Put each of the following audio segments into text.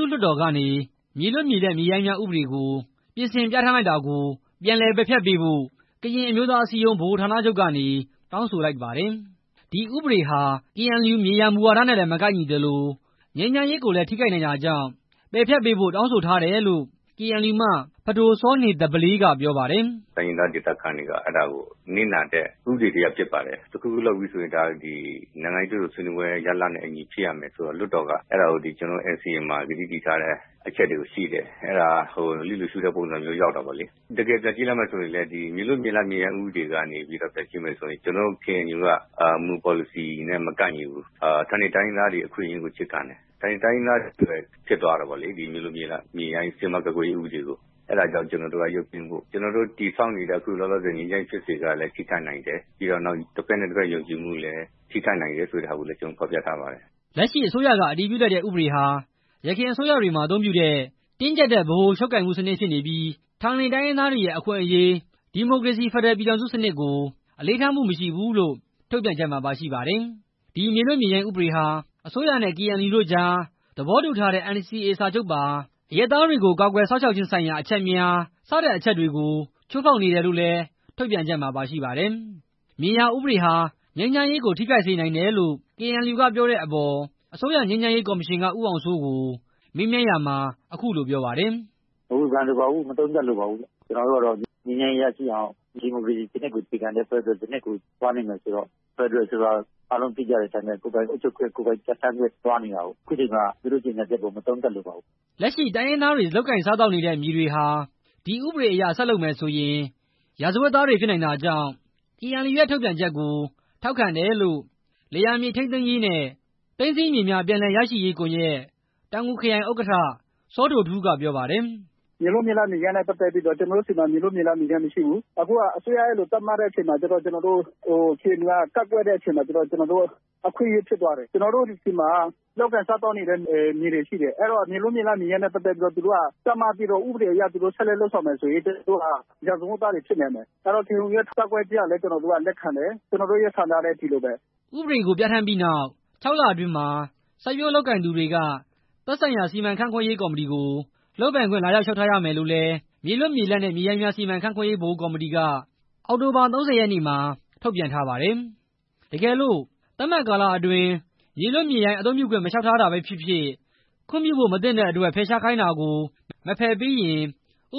ုလွှတ်တော်ကနေ မြေလွတ်၊ မြေလပ်၊ မြေရိုင်းများ ဥပဒေကို ပြင်ဆင်ပြဌာန်းလိုက်တာ ပြန်လည်ပယ်ဖျက်ပေးဖို့ ကရင်အမျိုးသားအစည်းအရုံး ဗဟိုဌာနချုပ်ကနေ တောင်းဆိုလိုက်ပါတယ်။ ဒီဥပဒေဟာ KNU မြေယာမူဝါဒလည်း မကိုက်ညီသလို ငြိမ်းချမ်းရေးကိုလည်း ထိခိုက်နိုင်တာကြောင့် ပယ်ဖျက်ပေးဖို့ တောင်းဆိုထားတယ်လို့ KNU မှ ပဒိုစောနေသဘလေးက ပြောပါတယ်။ "တိုင်းရင်းသားဒေသခံတွေအတွက် နစ်နာတဲ့ ဥပဒေတစ်ရပ် ဖြစ်ပါတယ်၊ တစ်ခုခုလုပ်မယ်ဆိုရင် နိုင်ငံရေး တွေ့ဆုံဆွေးနွေးရေး ရလဒ်နဲ့အညီ ဖြစ်ရမယ်ဆိုတော့ လွှတ်တော်က ကျနော်တို့ NCA မှာ သဘောတူထားတဲ့ အချက်တွေရှိတယ်၊ အဲဒါကို လွှတ်တော်က လျစ်လျူရှုရာရောက်တာပေါ့လေ၊ တကယ်ပြန်ကြည့်လိုက်မယ် ဆိုရင်လည်း မြေလွတ်မြေရိုင်း ဥပဒေကနေပြီးတော့ ပြန်ကြည့်မယ်ဆိုရင် ကျနော်တို့ KNU ရဲ့ မူဝါဒနဲ့ မကိုက်ညီဘူးပေါ့လေ။ ကျနော်တို့က ဌာနေတိုင်းရင်းသားတွေရဲ့ အခွင့်အရေးကို အခြေခံတယ်ပေါ့လေ၊ ဒီမြေလွတ်မြေရိုင်းဥပဒေကို ရုပ်သိမ်းဖို့ပေါ့လေ၊ ကျနော်တို့ တည်ဆောက်နေတဲ့ ငြိမ်းချမ်းရေးဖြစ်စဉ်ကိုလည်း ထိခိုက်နိုင်တယ်၊ ပြီးတော့ တစ်ဘက်နဲ့ တစ်ဘက် ယုံကြည်မှု တည်ဆောက်တာကိုလည်း ထိခိုက်နိုင်တယ်လို့ ဖော်ပြထားပါတယ်" လက်ရှိအစိုးရက အတည်ပြုလိုက်တဲ့ဥပဒေဟာ ယခင်အစိုးရတွေမှာ အသုံးပြုတဲ့ တင်းကြပ်တဲ့ဗ ဟိုချုပ်ကိုင်မှုစနစ်ဖြစ်နေပြီး ဌာနေတိုင်းရင်းသားတွေရဲ့အခွင့်အရေး၊ ဒီမိုကရေစီ ဖက်ဒရယ်ပြည်ထောင်စုစနစ်ကို အလေးထားမှုမရှိဘူးလို့ ထုတ်ပြန်ချက်မှာ ပါရှိပါတယ်။ ဒီမြေလွတ်မြေရိုင်းဥပဒေဟာ အစိုးရနဲ့ KNU တို့ကြား သဘောတူထားတဲ့ NCA စာချုပ်ပါ အရပ်သားတွေကို ကာကွယ်စောင့်ရှောက်ခြင်းဆိုင်ရာ အချက်များ စတဲ့ အချက်တွေကို ချိုးဖောက်နေတယ်လို့လည်း ထုတ်ပြန်ချက်မှာ ပါရှိပါတယ်။ မြေယာဥပဒေဟာ ငြိမ်းချမ်းရေးကို ထိခိုက်စေနိုင်တယ်လို့ KNU ကပြောတဲ့အပေါ် အစိုးရငြိမ်းချမ်းရေးကော်မရှင်က ဦးအောင်စိုးကို မေးမြန်းရာမှာ အခုလိုပြောပါတယ်။ "မဝေဖန်လိုပါဘူး၊ မသုံးသပ်လိုပါဘူး၊ ကျနော်တို့က ငြိမ်းချမ်းရေးရရှိအောင် ဒီမိုကရေစီစနစ်ကို အခြေခံတဲ့ ဖက်ဒရယ်ပြည်ထောင်စုကို သွားနေတာဆိုတော့ ဖက်ဒရယ်ဆိုတာ ကိုယ်ပိုင်အုပ်ချုပ်ခွင့် ကိုယ်ပိုင်ပြဋ္ဌာန်းခွင့်ကို သွားနေတာလေ အခုချိန်မှာ သူတို့ရဲ့ထုတ်ပြန်ချက်ကို မသုံးသပ်လိုပါဘူး" လက်ရှိတိုင်းရင်းသားတွေ လုပ်ကိုင်စားသောက်နေတဲ့မြေတွေဟာ ဒီဥပဒေအရ ဆက်လုပ်မယ်ဆိုရင် ရာဇဝတ်သားတွေဖြစ်နိုင်တာကြောင့် KNU ရဲ့ထုတ်ပြန်ချက်ကို ထောက်ခံတယ်လို့ လယ်ယာ မြေထိန်းသိမ်းရေးနဲ့ သိမ်းဆည်းမြေများ ပြန်လည်ရရှိရေးကွန်ရက် တောင်ငူခရိုင် ဥက္ကဋ္ဌ စောဒိုထူးက ပြောပါတယ်။ "မြေလွတ်မြေရိုင်းနဲ့ ပတ်သက်ပြီးတော့ ကျနော်တို့မှာ မရှိဘူး၊ အစိုးရက အဲလိုသတ်မှတ်တဲ့အချိန်မှာ KNU က အဲလိုကန့်ကွက်တဲ့အတွက် ကျနော်တို့အတွက် အခွင့်အရေးဖြစ်သွားတယ်၊ ကျနော်တို့ဆီမှာ လုပ်ကိုင်စားသောက်နေတဲ့ မြေတွေရှိတယ်၊ အဲတော့ မြေလွတ်မြေရိုင်း ဥပဒေတွေ သတ်မှတ်ပြီးတော့ ဥပဒေအရ ဆက်လက်လုပ်ကိုင်မယ်ဆိုရင် ကျနော်တို့က ရာဇဝတ်သားတွေဖြစ်မယ်၊ အဲဒီအတွက် KNU ရဲ့ ကန့်ကွက်တဲ့ ထုတ်ပြန်ချက်ကို ကျနော်တို့က ထောက်ခံတယ်၊ ကျနော်တို့ရဲ့ ဆန္ဒနဲ့ အတူတူပဲ" ဒီဥပဒေကို ပြဌာန်းပြီးနောက် ၆ လအတွင်းမှာ စိုက်ပျိုးလုပ်ကိုင်နေသူတွေက သက်ဆိုင်ရာ စီမံခန့်ခွဲရေးကော်မတီကို လုပ်ပိုင်ခွင့် လာရောက် လျှောက်ထားရမယ်လို့လည်း မြေလွတ်မြေလပ်နဲ့ မြေရိုင်းများ စီမံခန့်ခွဲရေး ဗဟိုကော်မတီက အောက်တိုဘာ ၃၀ ရက်မှာ ထုတ်ပြန်ထားပါတယ်။ တကယ်လို့ သတ်မှတ်ကာလအတွင်း မြေလွတ်မြေရိုင်း အသုံးပြုခွင့် မလျှောက်ထားတာပဲဖြစ်ဖြစ်၊ ခွင့်ပြုဖို့ မသင့်တဲ့အတွက် ဖယ်ရှားခိုင်းတာကို မဖယ်ပေးရင်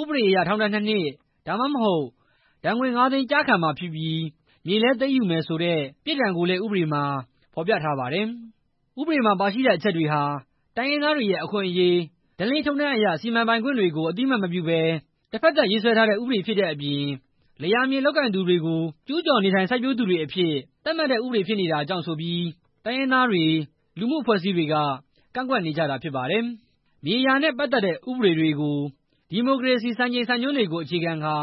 ဥပဒေအရ ထောင်ဒဏ် ၂ နှစ် ဒါမှမဟုတ် ဒဏ်ငွေ ၅ သိန်း ကျခံမှာဖြစ်ပြီး မြေလည်း သိမ်းယူမယ်ဆိုတဲ့ ပြစ်ဒဏ်ကိုလည်း ဥပဒေမှာ ဖော်ပြထားပါတယ်။ ဥပဒေမှာ ပါရှိတဲ့အချက်တွေဟာ တိုင်းရင်းသားတွေရဲ့ အခွင့်အရေး၊ ဓလေ့ထုံးတမ်းအရ စီမံပိုင်ခွင့်တွေကို အသိမှတ်မပြုဘဲ တစ်ဖက်သတ်ရေးစွဲထားတဲ့ ဥပဒေဖြစ်တဲ့အပြင် လယ်ယာမြေလုပ်ကိုင်သူတွေကို ကျူးကျော်နေထိုင်စိုက်ပျိုးသူတွေအဖြစ် သတ်မှတ်တဲ့ဥပဒေ ဖြစ်နေတာကြောင့်ဆိုပြီး တိုင်းရင်းသားတွေ၊ လူမှုအဖွဲ့အစည်းတွေက ကန့်ကွက်နေကြတာဖြစ်ပါတယ်။ မြေယာနဲ့ ပတ်သက်တဲ့ဥပဒေတွေကို ဒီမိုကရေစီ ဖက်ဒရယ်စံချိန်စံညွှန်းတွေကို အခြေခံကာ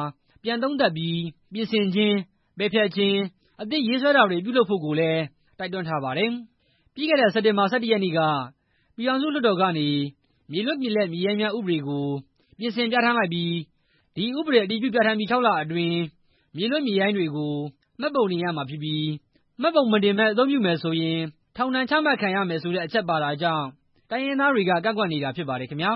ပြန် သုံးသပ်ပြီး ပြင်ဆင်ခြင်း၊ ပယ်ဖျက်ခြင်း၊ အသစ်ရေးဆွဲတာတွေ ပြုလုပ်ဖို့ကိုလည်း တိုက်တွန်းထားပါတယ်။ ပြီးခဲ့တဲ့ စက်တင်ဘာလ ၁၁ ရက်နေ့က ပြည်ထောင်စုလွှတ်တော်ကနေ မြေလွတ်၊ မြေလပ်၊ မြေရိုင်းများ ဥပဒေကို ပြင်ဆင် ပြဌာန်းလိုက်ပြီး အဲဒီဥပဒေ အတည်ပြုပြဌာန်းပြီး ၆လ အတွင်းမြေလွတ်မြေရိုင်းတွေကို မှတ်ပုံတင်ရမှာဖြစ်ပြီး မှတ်ပုံမတင်ဘဲ အသုံးပြုမယ်ဆိုရင် ထောင်ဒဏ် ချမှတ်ခံရမယ်ဆိုတဲ့အချက် ပါတာကြောင့် တိုင်းရင်းသားတွေက ကန့်ကွက်နေကြတာဖြစ်ပါတယ်ခင်ဗျာ။